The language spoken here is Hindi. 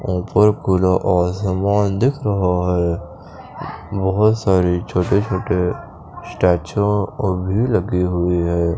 ऊपर खुला आसमान दिख रहा है बहुत सारे छोटे छोटे स्टॅच्यु भी लगे हुई है।